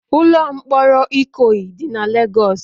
Ụlọ mkpọrọ Ikoyi dị na Legọs